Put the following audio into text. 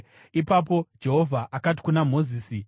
Ipapo Jehovha akati kuna Mozisi,